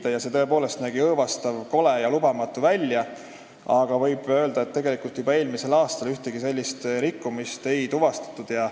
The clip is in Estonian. See nägi tõepoolest õõvastav, kole ja lubamatu välja, aga võib öelda, et tegelikult juba eelmisel aastal ühtegi sellist rikkumist ei tuvastatud.